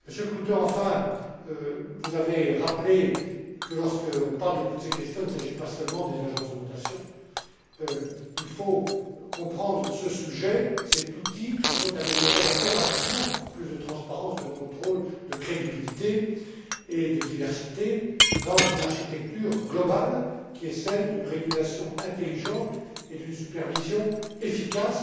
Monsieur Klute, enfin, vous avez rappelé que, lorsque l'on parle de toutes ces questions, il ne s'agit pas seulement des agences de notation. Il faut inscrire ce sujet, cet outil qu'il faut améliorer impérativement plus de transparence, de contrôle, de crédibilité et de diversité dans une architecture globale qui est celle d'une régulation intelligente et d'une supervision efficace.